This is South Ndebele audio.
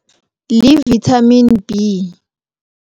Li-Vitamin B.